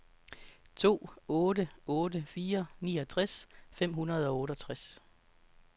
to otte otte fire niogtres fem hundrede og otteogtres